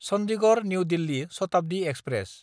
Chandigarh New Delhi Shatabdi express